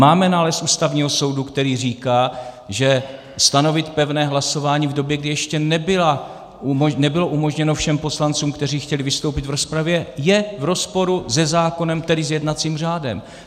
Máme nález Ústavního soudu, který říká, že stanovit pevné hlasování v době, kdy ještě nebylo umožněno všem poslancům, kteří chtěli vystoupit v rozpravě, je v rozporu se zákonem, tedy s jednacím řádem.